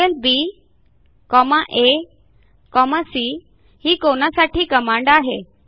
angleBAC ही कोनासाठी command आहे